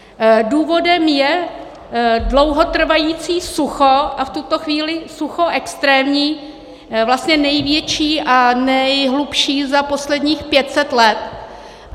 Důvodem je dlouhotrvající sucho a v tuto chvíli sucho extrémní, vlastně největší a nejhlubší za posledních 500 let.